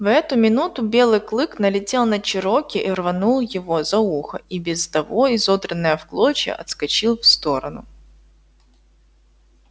в эту минуту белый клык налетел на чероки и рванув его за ухо и без того изодранное в клочья отскочил в сторону